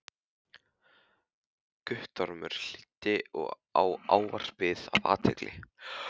Guttormur hlýddi á ávarpið af athygli.